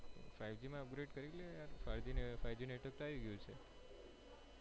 five g માં upgrade કરી લે five g નું network તો આઈ ગયું છે.